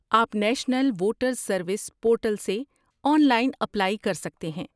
آپ national voters service portal سے online apply کر سکتے ہیں۔